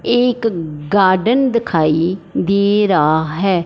एक गार्डन दिखाई दे रहा है।